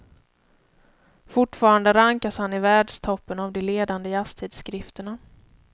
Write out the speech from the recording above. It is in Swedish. Fortfarande rankas han i världstoppen av de ledande jazztidskrifterna.